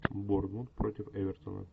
борнмут против эвертона